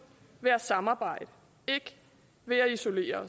ved at samarbejde ikke ved at isolere